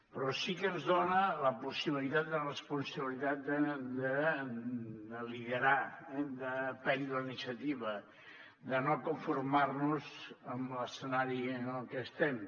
però sí que ens dona la possibilitat de responsabilitat de liderar eh de prendre la iniciativa de no conformar nos amb l’escenari en el que estem